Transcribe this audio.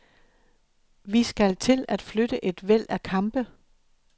Vi skal til at flytte et væld af kampe.